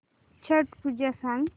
छट पूजा सांग